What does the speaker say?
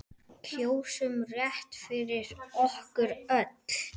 Kjósum rétt fyrir okkur öll.